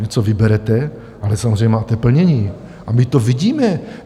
Něco vyberete, ale samozřejmě máte plnění, a my to vidíme.